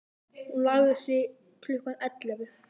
Hún lagði sig til klukkan ellefu.